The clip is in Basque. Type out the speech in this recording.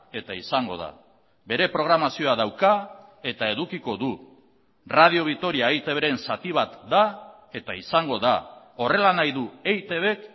eta izango da bere programazioa dauka eta edukiko du radio vitoria eitbren zati bat da eta izango da horrela nahi du eitbk